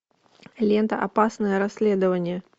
лента опасное расследование